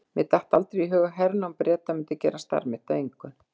Mér datt aldrei í hug að hernám Breta myndi gera starf mitt að engu.